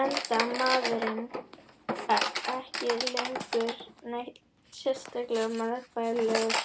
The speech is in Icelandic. enda maðurinn ekki lengur neitt sérlega meðfærilegur.